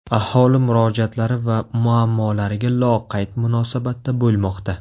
Aholi murojaatlari va muammolariga loqayd munosabatda bo‘lmoqda.